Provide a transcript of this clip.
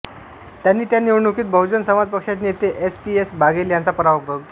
त्यांनी त्या निवडणुकीत बहुजन समाज पक्षाचे नेते एस् पी एस् बाघेल यांचा पराभव केला